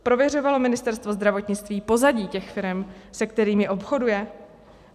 Prověřovalo Ministerstvo zdravotnictví pozadí těch firem, se kterými obchoduje?